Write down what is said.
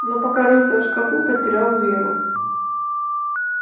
но пока рылся в шкафу потерял веру